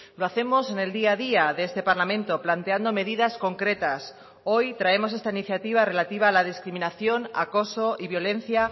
lo hacemos en el día a día de este parlamento planteando medidas concretas hoy traemos esta iniciativa relativa a la discriminación acoso y violencia